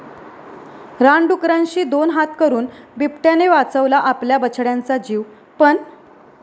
रानडुकरांशी दोन हात करून बिबट्याने वाचवला आपल्या बछड्यांचा जीव, पण...